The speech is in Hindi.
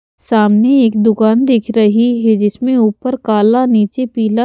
सामने एक दुकान दिख रही है जिसमें ऊपर काला नीचे पीला--